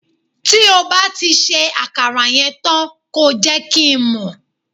ti o ba ri se akara yen tan ko je kin mo